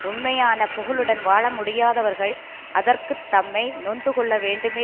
உண்மையான புகழுடன் வாழ முடியாதவர்கள் அதற்கத் தம்மை நொந்து கொள்ள வேண்டுமே